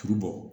Tulu bɔ